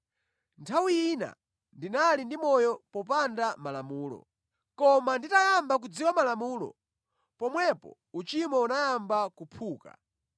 Nthawi ina ndinali ndi moyo popanda Malamulo. Koma nditayamba kudziwa Malamulo, pomwepo uchimo unayamba kuphuka,